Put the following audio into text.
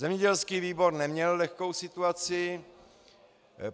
Zemědělský výbor neměl lehkou situaci.